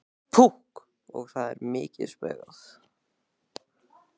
Púkk og það er mikið spaugað.